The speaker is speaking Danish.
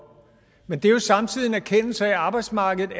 men det er jo samtidig en erkendelse af at arbejdsmarkedet